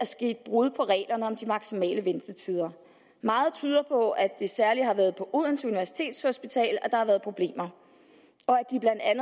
sket brud på reglerne om de maksimale ventetider meget tyder på at det særlig har været på odense universitetshospital at der har været problemer